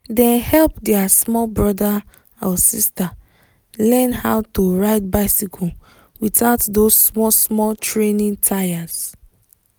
dem help their small brother/sister learn how to ride bicycle without those small-small training tyres.